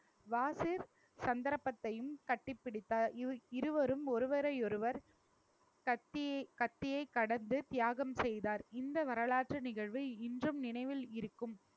வாசு சந்தர்ப்பத்தையும் கட்டிப்பிடித்தார் இ~ இருவரும் ஒருவரை ஒருவர் கத்தி~ கத்தியைக் கடந்து தியாகம் செய்தார் இந்த வரலாற்று நிகழ்வு இன்றும் நினைவில் இருக்கும்